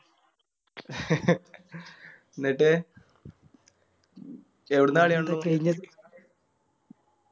ന്നിട്ട് എവിടുന്നാ കളി